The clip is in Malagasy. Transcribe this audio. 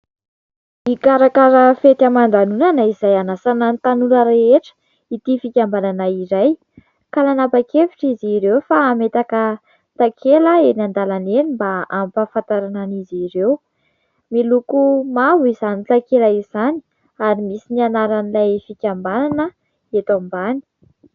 Mikarakara fety aman-danonana izay hanasana ny tanora rehetra ity fikambanana iray ka nanapa-kevitra izy ireo fa hametaka takela eny an-dalana eny mba hampahafantarana an'izy ireo. Miloko mavo izany takela izany ary misy ny anaran'ilay fikambanana eto ambany.